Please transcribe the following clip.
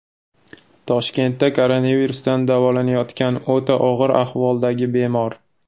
Toshkentda koronavirusdan davolanayotgan o‘ta og‘ir ahvoldagi bemor.